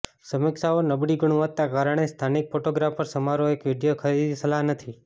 સમીક્ષાઓ નબળી ગુણવત્તા કારણે સ્થાનિક ફોટોગ્રાફર સમારોહ એક વિડિઓ ખરીદી સલાહ નથી